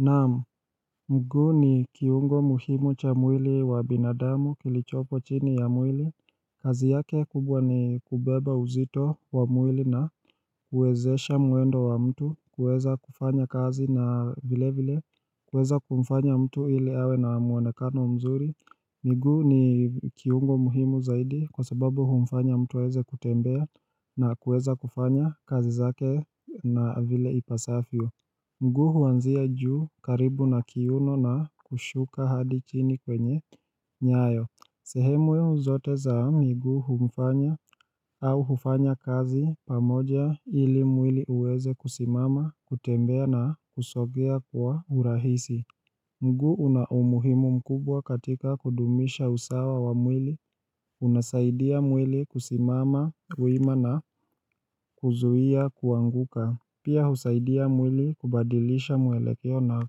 Naam, mguu ni kiungo muhimu cha mwili wa binadamu kilichopo chini ya mwili kazi yake kubwa ni kubeba uzito wa mwili na uwezesha mwendo wa mtu kuweza kufanya kazi na vile vile kuweza kumfanya mtu ili awe na muonekano mzuri mguu ni kiumbo muhimu zaidi kwa sababu humfanya mtu aweze kutembea na kuweza kufanya kazi zake na vile ipasafio mguu huanzia juu karibu na kiuno na kushuka hadichini kwenye nyayo. Sehemu yo zote za miguu humfanya au hufanya kazi pamoja ili mwili uweze kusimama, kutembea na kusogea kwa urahisi. Mguu unaumuhimu mkubwa katika kudumisha usawa wa mwili, unasaidia mwili kusimama, wima na kuzuhia kuanguka. Pia husaidia mwili kubadilisha mwelekeo na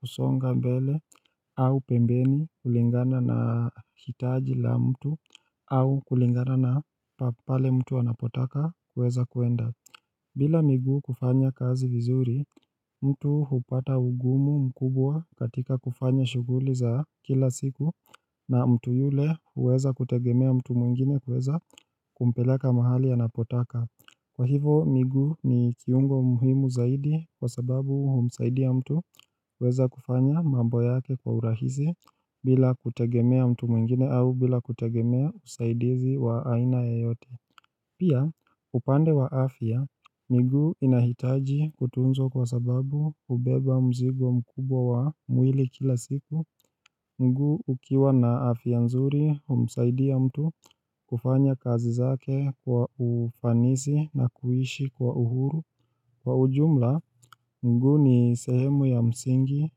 kusonga mbele au pembeni kulingana na hitaji la mtu au kulingana na pale mtu anapotaka kuweza kuenda. Bila miguu kufanya kazi vizuri, mtu hupata ugumu mkubwa katika kufanya shuguli za kila siku na mtu yule uweza kutegemea mtu mwingine kuweza kumpeleka mahali anapotaka. Kwa hivo miguu ni kiungo muhimu zaidi kwa sababu humsaidia mtu kuweza kufanya mambo yake kwa urahisi bila kutegemea mtu mwingine au bila kutegemea usaidizi wa aina yoyote Pia upande wa afya miguu inahitaji kutunzwa kwa sababu ubeba mzigo mkubwa wa mwili kila siku mguu ukiwa na afya nzuri umsaidia mtu kufanya kazi zake kwa ufanisi na kuishi kwa uhuru Kwa ujumla mguu ni sehemu ya msingi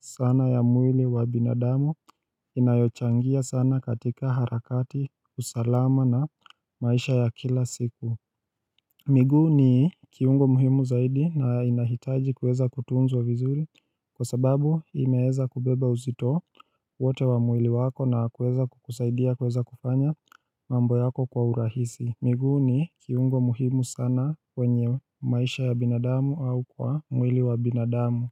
sana ya mwili wa binadamu inayochangia sana katika harakati usalama na maisha ya kila siku miguu ni kiungo muhimu zaidi na inahitaji kuweza kutunzwa vizuri kwa sababu imeeza kubeba uzito wote wa mwili wako na kuweza kukusaidia kuweza kufanya mambo yako kwa urahisi miguu ni kiungo muhimu sana kwenye maisha ya binadamu au kwa mwili wa binadamu.